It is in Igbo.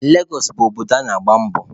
Legos bụ obodo ebe ana-agba mbọ.